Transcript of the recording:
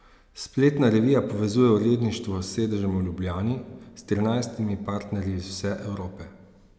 Spletna revija povezuje uredništvo s sedežem v Ljubljani s trinajstimi partnerji iz vse Evrope.